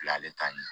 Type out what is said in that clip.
Bila ale ta ye